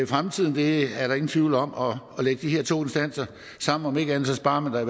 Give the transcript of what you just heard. fremtiden det er der ingen tvivl om og at lægge de her to instanser sammen sparer man da